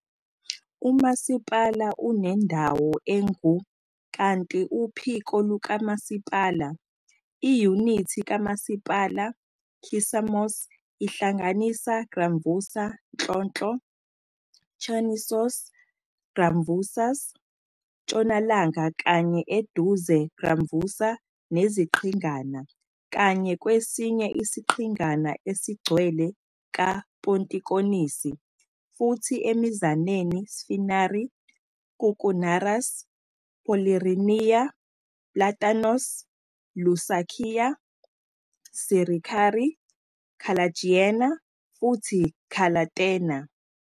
Umasipala unendawo engu- kanti uphiko lukamasipala. Iyunithi kamasipala Kissamos ihlanganisa Gramvousa nhlonhlo, Chernisos Gramvousas, " ntshonalanga kanye eduze Gramvousa neziqhingana, kanye kwesinye isiqhingana esigcwele ka Pontikonisi, futhi emizaneni Sfinari, Koukounaras, Polirinia, Platanos, Lousakia, Sirikari, Kallergiania futhi Kalathena.